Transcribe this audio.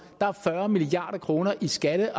er milliard kroner skatte